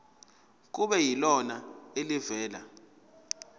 kube yilona elivela